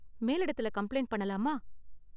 மேலிடத்துல complaint பண்ணலாமா?